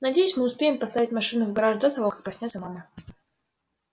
надеюсь мы успеем поставить машину в гараж до того как проснётся мама